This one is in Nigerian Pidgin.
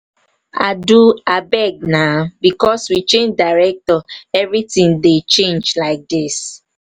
adu abeg na because we change director everything dey change like dis.